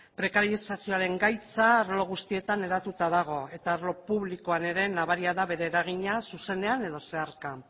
prekarizazioaren gaitza arlo guztietan hedatuta dago eta arlo publikoan ere nabaria da bere eragina zuzenean edo zeharka